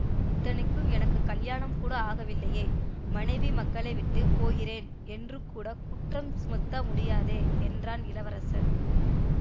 இத்தனைக்கும் எனக்கு கலியாணம் கூட ஆகவில்லையே மனைவி மக்களை விட்டு போகிறேன் என்று கூட குற்றம் சுமத்த முடியாதே என்றான் இளவரசன்